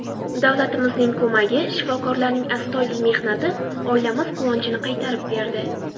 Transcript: Davlatimizning ko‘magi, shifokorlarning astoydil mehnati oilamiz quvonchini qaytarib berdi.